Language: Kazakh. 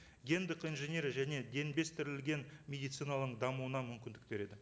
гендік инженерия және медицинаның дамуына мүмкіндік береді